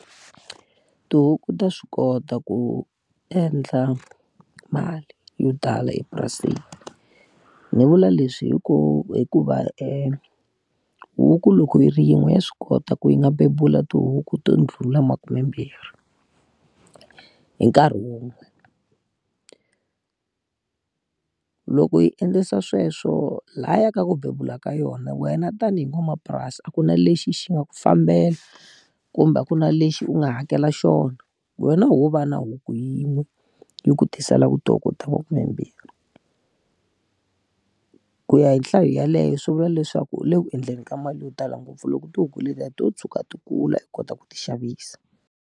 Tihuku ta swi kota ku endla mali yo tala epurasini. Ni vula leswi hi ku hikuva huku loko yi ri yin'we ya swi kota ku yi nga bebula tihuku to ndlhula makume mbirhi hi nkarhi wun'we Loko yi endlisa sweswo laha ya ka ku bebula ka yona wena tanihi n'wamapurasi a ku na lexi xi nga ku fambela, kumbe ku na lexi u nga hakela xona. Wena wo va na huku yin'we, yi ku tiselaka tihuku ta makume mbirhi. Ku ya hi nhlayo yaleyo swi vula leswaku u le ku endleni ka mali yo tala ngopfu loko tihuku letiya to tshuka ti kula u kota ku ti xavisa.